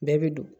Bɛɛ bɛ don